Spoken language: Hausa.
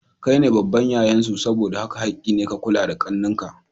Kaine babban yayan su saboda haka hakki ne ka kula da ƙannen ka.